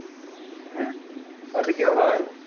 হ্যাঁ। ওতে কি হয়?